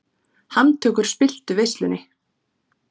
Handtökur spilltu veislunni